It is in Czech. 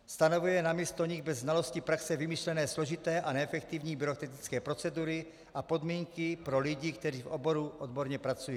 Stanovuje namísto nich bez znalosti praxe vymyšlené složité a neefektivní byrokratické procedury a podmínky pro lidi, kteří v oboru odborně pracují.